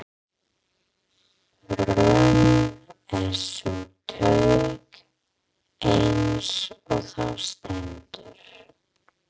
Römm er sú taug, eins og þar stendur